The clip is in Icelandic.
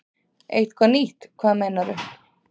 Eitthvað nýtt, hvað meinarðu?